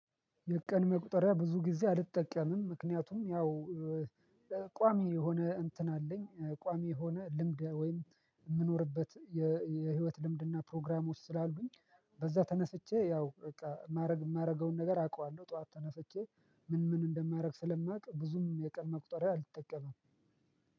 የቀን መቁጠሪያ ብዙ ጊዜ አልጠቀምም ምክንያቱም ያው ቋሚ የሆነ እንትን አለኝ ቋሚ የሆነ ልምድ ወይም የምኖርበት የህይወት ልምድና ፕሮግራሞች ስላሉኝ። በዛ ተነስቼ ያው በቃ የማደርገውን ነገር አውቃለሁ ጠዋት ተነስቼ ምን ምን እንደማደርግ ስለማውቅ ብዙም የቀን መቁጠሪያ አልተጠቀመም።